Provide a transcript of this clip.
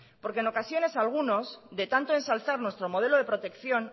porque en ocasiones algunos de tanto ensalzar nuestro modelo de protección